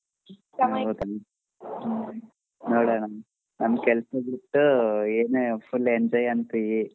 ನೋಡಣಾ ನಮ್ ಕೆಲಸಾ ಬಿಟ್ಟ ಏನೇ full enjoy ಅಂತಿ.